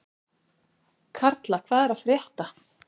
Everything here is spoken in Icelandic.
Karla, hvað er að frétta?